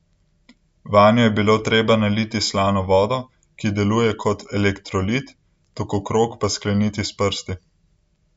Vanju je bilo treba naliti slano vodo, ki deluje kot elektrolit, tokokrog pa skleniti s prsti.